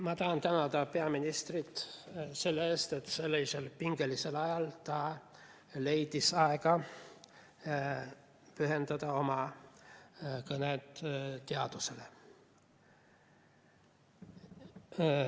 Ma tahan tänada peaministrit selle eest, et sellisel pingelisel ajal leidis ta aega pühendada oma kõne teadusele.